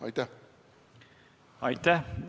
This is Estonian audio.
Aitäh!